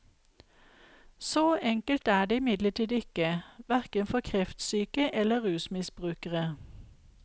Så enkelt er det imidlertid ikke, hverken for kreftsyke eller rusmisbrukere.